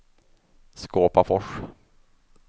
Skåpafors